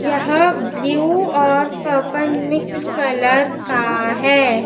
यहां ब्लू और purple mix colour का है।